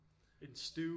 En stew